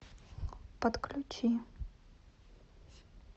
подключи